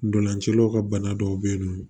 Ntolancilaw ka bana dɔw bɛ yen nɔ